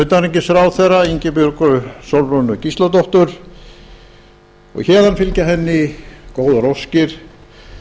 utanríkisráðherra ingibjörgu sólrúnu gísladóttur og héðan fylgja henni góðar óskir